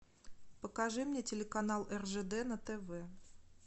покажи мне телеканал ржд на тв